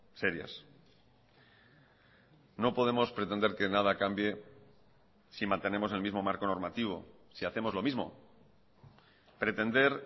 serias no podemos pretender que nada cambie si mantenemos el mismo marco normativo si hacemos lo mismo pretender